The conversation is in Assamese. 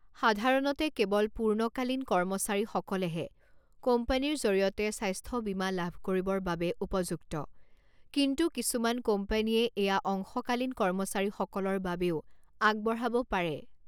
সাধাৰণতে কেৱল পূৰ্ণকালীন কৰ্মচাৰীসকলহে কোম্পানীৰ জৰিয়তে স্বাস্থ্য বীমা লাভ কৰিবৰ বাবে উপযুক্ত, কিন্তু কিছুমান কোম্পানীয়ে এয়া অংশকালীন কৰ্মচাৰীসকলৰ বাবেও আগবঢ়াব পাৰে।